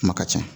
Kuma ka ca